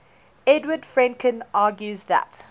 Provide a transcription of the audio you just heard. edward fredkin argues that